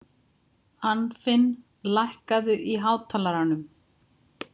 Anfinn, lækkaðu í hátalaranum.